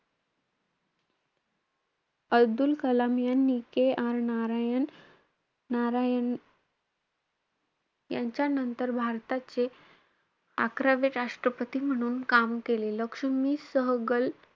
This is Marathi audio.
अब्दुल कलाम यांनी KR नारायण~ नारायण यांच्यानंतर भारताचे अकरावे राष्ट्रपती म्हणून काम केले. लक्ष्मी सहगल,